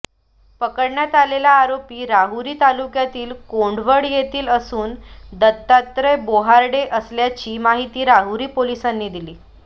पकडण्यात आलेला आरोपी राहुरी तालुक्यातील कोंढवड येथील असून दत्तात्रय बोर्हाडे असल्याची माहिती राहुरी पोलिसांनी दिली